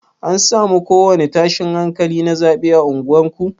An samu ko wani tashin hankali na zaɓe a unguwar ku?